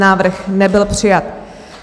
Návrh nebyl přijat.